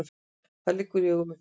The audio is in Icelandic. Það liggur í augum uppi.